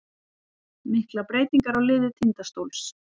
Miklar breytingar á liði Tindastóls